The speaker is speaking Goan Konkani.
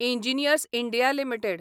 engineers India limited